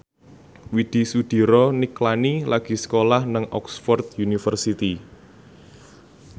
Widy Soediro Nichlany lagi sekolah nang Oxford university